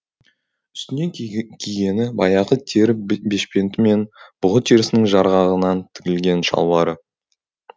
үстіне кигені баяғы тері бешпенті мен бұғы терісінің жарғағынан тігілген шалбары